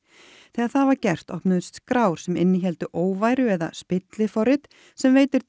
þegar það var gert opnuðust skrár sem innihéldu óværu eða spilliforrit sem veitir